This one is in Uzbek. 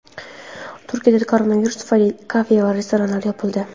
Turkiyada koronavirus tufayli kafe va restoranlar yopildi.